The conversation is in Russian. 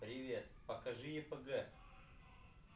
привет покажи епг